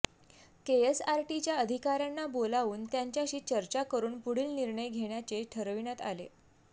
केएसआरटीच्या अधिकाऱयांना बोलावून त्यांच्याशी चर्चा करून पुढील निर्णय घेण्याचे ठरविण्यात आले